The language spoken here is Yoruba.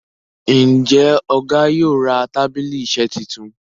Njé Ọgá yóò rà tábìlì iṣe títún?